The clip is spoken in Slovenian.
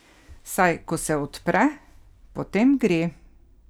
Saj, ko se odpre, potem gre!